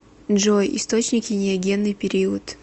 джой источники неогенный период